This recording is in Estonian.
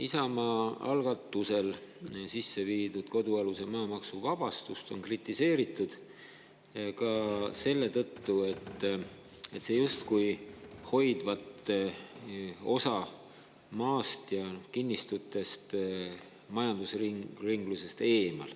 Isamaa algatusel sisse viidud kodualuse maa maksuvabastust on kritiseeritud ka selle tõttu, et see justkui hoidvat osa maast ja kinnistutest majandusringlusest eemal.